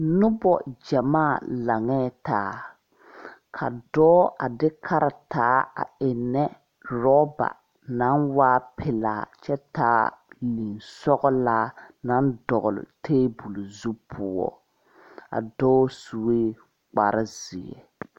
Nobɔ gyamaa laŋɛɛ taa ka dɔɔ a de karetaa a eŋnɛ rɔba naŋ waa pelaa kyɛ taa liŋsɔglaa naŋ dɔgle tabole zu poɔ a dɔɔ suee kpare zeɛ.